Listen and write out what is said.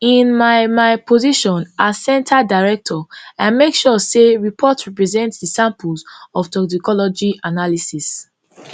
in my my position as center director i make sure say report represent di samples of toxicology analysis